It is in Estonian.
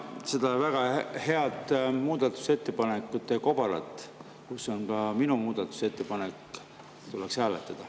Jaa, seda väga head muudatusettepanekute kobarat, kus on ka minu muudatusettepanek, tuleks hääletada.